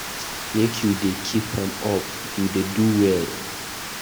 Make you dey keep am up, you dey do well.